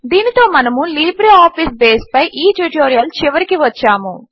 దీనితో మనము లిబ్రేఆఫీస్ బేస్పై ఈ ట్యుటోరియల్ చివరికి వచ్చాము